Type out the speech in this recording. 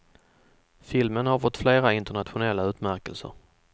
Filmen har fått flera internationella utmärkelser.